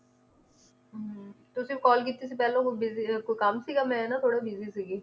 ਹਮ ਤੁਸੀਂ call ਕੀਤੀ ਸੀ ਪਹਿਲੋਂ ਹੁਣ ਬੀਸੀ~ ਕੋਈ ਕੰਮ ਸੀਗਾ ਮੈ ਨਾ ਥੋੜਾ busy ਸੀਗੀ